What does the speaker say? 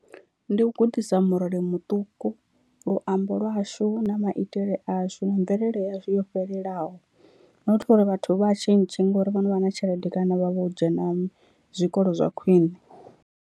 Ndi u gudisa murole muṱuku luambo lwashu na maitele ashu na mvelele yashu yo fhelelaho, not uri vhathu vha tshintshe ngori vho no vha na tshelede kana vha vho dzhena zwikolo zwa khwine.